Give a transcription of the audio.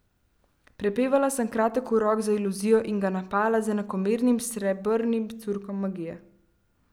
Prepevala sem kratek urok za iluzijo in ga napajala z enakomernim srebrnim curkom magije.